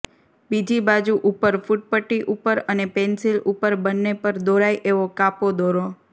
બીજી બાજુ ઉપર ફૂટપટ્ટી ઉપર અને પેન્સિલ ઉપર બંને પર દોરાય એવો કાપો દોરો